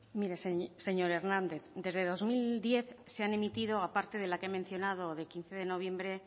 mire señor hernández desde dos mil diez se han emitido aparte de la que he mencionado de quince de noviembre